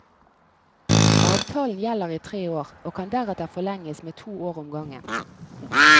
Avtalen gjelder i tre år, og kan deretter forlenges med to år om gangen.